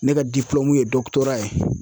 Ne ka ye dɔkutoraya ye.